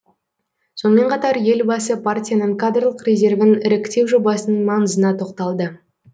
сонымен қатар елбасы партияның кадрлық резервін іріктеу жобасының маңызына тоқталды